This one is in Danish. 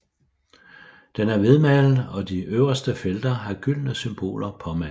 Den er hvidmalet og de øverste felter har gyldne symboler påmalet